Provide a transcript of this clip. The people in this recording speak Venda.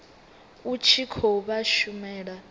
u tshi khou vha shumela